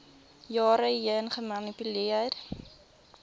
jare heen gemanipuleer